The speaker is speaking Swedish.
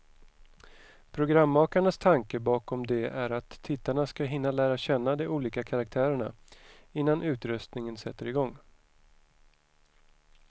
Programmakarnas tanke bakom det är att tittarna ska hinna lära känna de olika karaktärerna, innan utröstningen sätter igång.